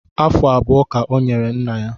Afụ abụọ ka ọ nyere nna ya